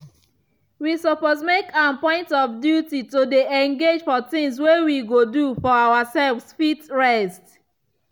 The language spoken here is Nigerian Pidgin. we suppose make am point of duty to dey engage for things way we go do for ourselves fit rest.